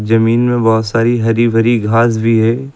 जमीन में बहोत सारी हरी भरी घास भी है।